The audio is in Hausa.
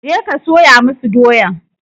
Je ka soya masu doyan!